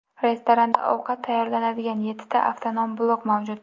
Restoranda ovqat tayyorlanadigan yettita avtonom blok mavjud.